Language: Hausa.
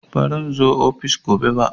Baran zo ofis gobe ba